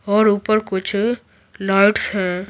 और ऊपर कुछ लाइट्स हैं।